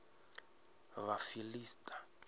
vhafiḽista